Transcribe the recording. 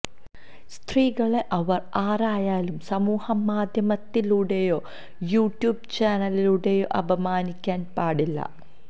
സ്ത്രീകളെ അവര് ആരായാലും സമൂഹ മാധ്യമത്തിലൂടെയോ യൂട്യൂബ് ചാനലിലൂടെയോ അപമാനിക്കാന് പാടില്ല